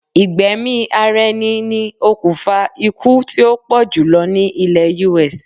Ìgbẹ̀mí-ara-ẹni ni okùnfà iukú tí ó pọ̀ jùlọ ní ilẹ̀ US.